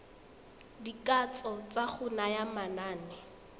dikatso tsa go naya manane